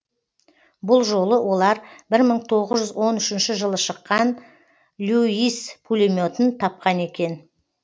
бұл жолы олар бір мың тоғыз жүз он үшінші жылы шыққан льюис пулеметін тапқан екен